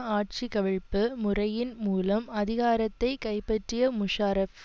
ஆட்சிகவிழப்பு முறையின் மூலம் அதிகாரத்தை கைப்பற்றிய முஷாரஃப்